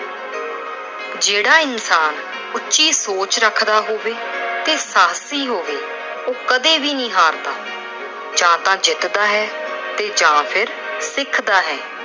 ਜਿਹੜਾ ਇਨਸਾਨ ਉਚੀ ਸੋਚ ਰੱਖਦਾ ਹੋਵੇ ਤੇ ਸਾਹਸੀ ਹੋਵੇ, ਉਹ ਕਦੇ ਵੀ ਨੀ ਹਾਰਦਾ। ਜਾਂ ਤਾਂ ਜਿੱਤਦਾ ਹੈ ਤੇ ਜਾਂ ਫਿਰ ਸਿੱਖਦਾ ਏ।